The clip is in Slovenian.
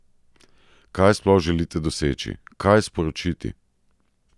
Kaj sploh želite doseči, kaj sporočiti?